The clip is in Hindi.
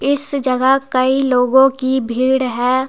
इस जगह कई लोगों की भीड़ है।